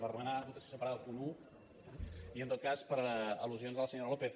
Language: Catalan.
per demanar votació separada del punt un i en tot cas per al·lusions de la senyora lópez